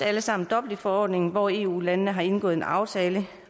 alle sammen dublinforordningen hvor eu landene har indgået en aftale